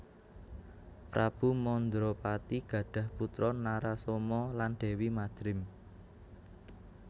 Prabu Mandrapati gadhah putra Narasoma lan Déwi Madrim